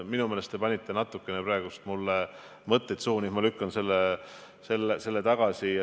Minu meelest te natuke panite praegu mulle mõtteid suhu, ma lükkan need tagasi.